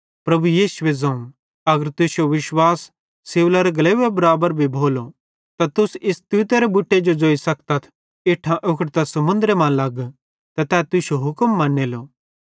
प्रभु यीशुए ज़ोवं अगर तुश्शो विश्वास सिवलारे गलेवे बराबर भी भोलो त तुस इस तूतेरे बुटे जो ज़ोइ सखतथ इट्ठां उखड़ ते समुन्द्रे मां लग त तै तुश्शो हुक्म मनेलो